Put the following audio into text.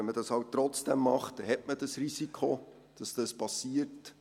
Wenn man das halt trotzdem macht, hat man das Risiko, dass dies passiert.